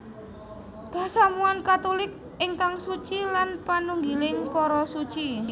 Pasamuwan Katulik ingkang suci lan panunggiling para Suci